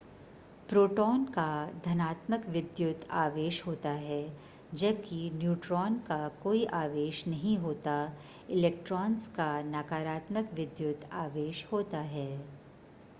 proton का धनात्मक विद्युत आवेश होता है जबकि न्यूट्रॉन का कोई आवेश नहीं होता इलेक्ट्रॉन्स का नकारात्मक विद्युत आवेश होता है